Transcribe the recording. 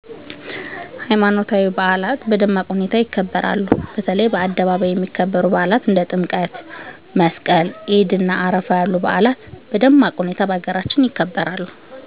ሀይማኖታዊ በአላት በደማቅ ሁኔታ ይከበራሉ በተለይ በአደባባይ የሚከበሩ በአላት እንደ ጥምቀት/መስቀል /ኢድእና አረፋ ያሉት በአላት